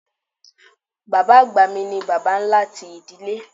Bàbá àgbà mi ni Bàbá ńlá ti ìdílé.